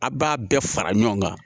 A' b'a bɛɛ fara ɲɔgɔn kan